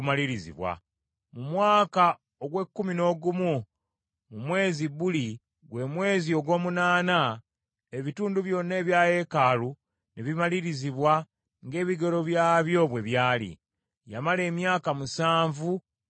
Mu mwaka ogw’ekkumi n’ogumu mu mwezi Buli , gwe mwezi ogw’omunaana, ebitundu byonna ebya yeekaalu ne bimalirizibwa ng’ebigero byabyo bwe byali. Yamala emyaka musanvu ng’agizimba.